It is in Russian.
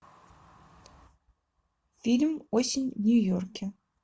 фильм осень в нью йорке